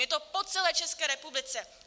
Je to po celé České republice.